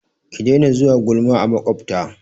Ki daina zuwa gulma a maƙwabta!